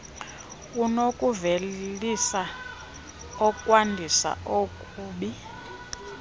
unokuvelisa okwandisa okubi